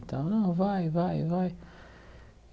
Então, não, vai, vai, vai.